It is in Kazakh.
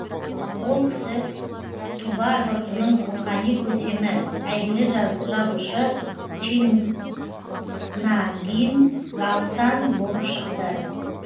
ол кісі тұба жұртының рухани көсемі әйгілі жазушы чинагийн галсан болып шықты